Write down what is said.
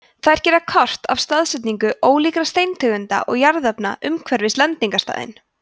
þær gera kort af staðsetningu ólíkra steintegunda og jarðefna umhverfis lendingarstaðinn